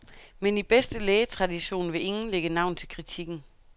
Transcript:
Men i bedste lægetradition vil ingen lægge navn til kritikken.